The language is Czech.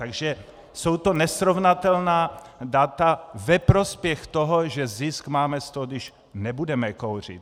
Takže jsou to nesrovnatelná data ve prospěch toho, že zisk máme z toho, když nebudeme kouřit.